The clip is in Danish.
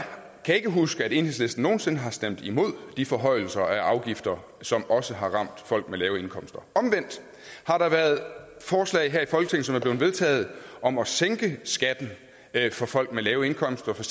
kan ikke huske at enhedslisten nogen sinde har stemt imod de forhøjelser af afgifter som også har ramt folk med lave indkomster omvendt har der været forslag her i folketinget blevet vedtaget om at sænke skatten for folk med lave indkomster for